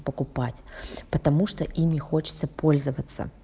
покупать потому что ими хочется пользоваться